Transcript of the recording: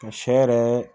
Ka sɛ yɛrɛ